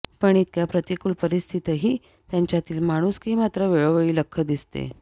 पण इतक्या प्रतिकूल परिस्थितीतही त्यांच्यातली माणुसकी मात्र वेळोवेळी लख्ख दिसते